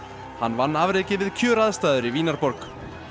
hann vann afrekið við kjöraðstæður í Vínarborg